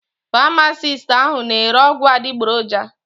Pamasist ahụ na ere ọgwụ adịgboroja.